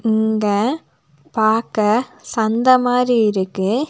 இங்க பாக்க சந்த மாறி இருக்கு.